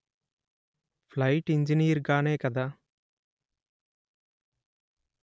plight engineer గానే కదా